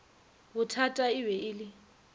bothata e be e le